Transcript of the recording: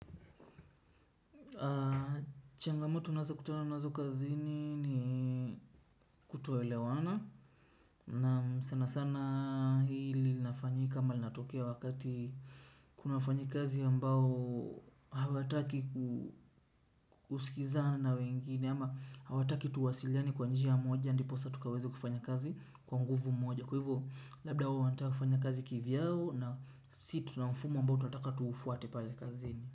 Changamoto tunazo kutana nazo kazini ni kutoelewana. Naam, sana sana hili linafanyika ama linatokea wakati kuna wafanyikazi ambao hawataki kusikizana na wengine ama hawataki tuwasiliane kwa njia moja, ndiposa tukaweza kufanya kazi kwa nguvu moja. Kwa hivyo labda wao wanataka kufanya kazi kivyao na sisi tuna mfumo ambao tunataka tuufuate pale kazini.